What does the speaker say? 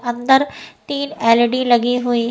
अंदर तीन एल.ई.डी लगी हुई --